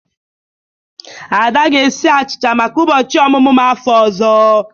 Ada ga-esi achicha maka ụbọchị ọmụmụ m n'afọ ọzọ.